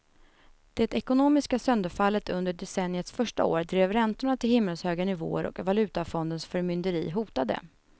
Det ekonomiska sönderfallet under decenniets första år drev räntorna till himmelshöga nivåer och valutafondens förmynderi hotade.